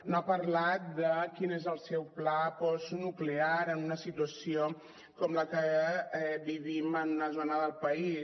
no ha parlat de quin és el seu pla postnuclear en una situació com la que vivim en una zona del país